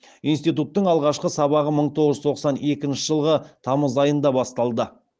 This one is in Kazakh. институттың алғашқы сабағы мың тоғыз жүз тоқсан екінші жылғы тамыз айында басталды